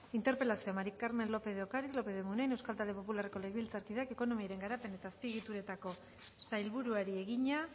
interpelazioa maría del carmen lópez de ocariz lópez de munain euskal talde popularreko legebiltzarkideak ekonomiaren garapen eta azpiegituretako sailburuari egina